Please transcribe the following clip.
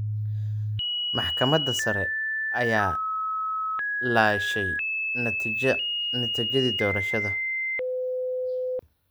Maxkamadda sare ayaa laashay natiijadii doorashada.